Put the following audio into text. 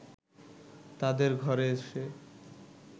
তাদের ঘরে এসে